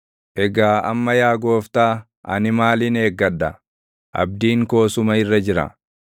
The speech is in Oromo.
“Egaa amma yaa Gooftaa, ani maalin eeggadha? Abdiin koo suma irra jira.